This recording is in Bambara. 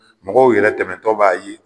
Mɔgɔw yɛrɛ tɛmɛtɔ b'a ye.